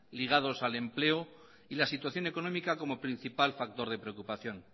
ligados al empleo y la situación económica como principal factor de preocupación